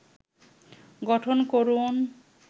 গঠন করুন